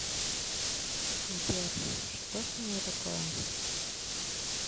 сбер что со мной такое